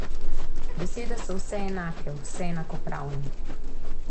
Besede so vse enake, vse enakopravne.